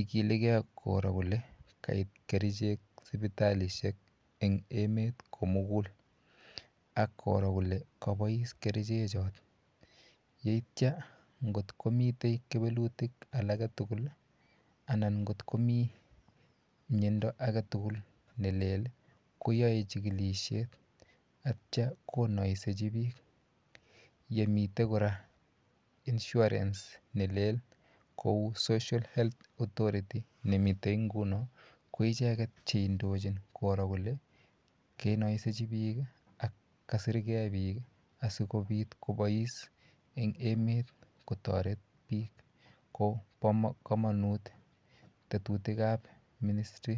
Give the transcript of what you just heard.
igilike koro kole kaip kerchek sipitalishek eng emet komukul ak koro kole kabois kerchek choto yeityo kotkomitei kewelutik alake tugul anan ngotko mii miondo ake tugul nelel koyoe chikilishet atyo konoisechi biik yemitei kora insurance nelel kou social health authority nemitei nguno ko icheket cheindochin koro kole kainosechi biik ak kasirkei biik asikopit kobois eng emet kotoret biik ko po komonut tetutik ap ministy